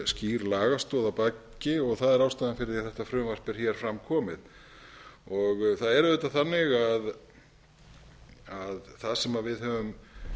skýr lagastoð að baki og það er ástæðan fyrir því að þetta frumvarp er fram komið það sem við höfum